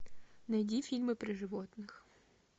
найди фильмы про животных